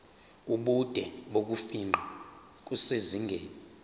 ubude bokufingqa kusezingeni